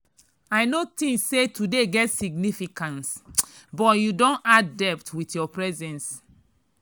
i no think say today get significance but you don add depth with your presence.